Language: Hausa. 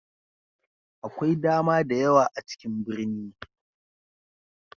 Akwai dama da yawa a cikin birni.